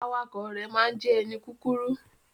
Awakọ̀ rẹ ma jẹ ẹni kúkúrú.